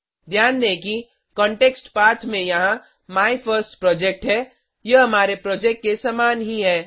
ध्यान दें कि कांटेक्स्ट पथ में यहाँ माइफर्स्टप्रोजेक्ट है यह हमारे प्रोजेक्ट के समान ही है